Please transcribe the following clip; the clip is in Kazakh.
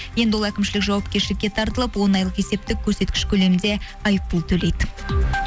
енді ол әкімшілік жауапкершілікке тартылып он айлық есептік көрсеткіш көлемінде айыппұл төлейді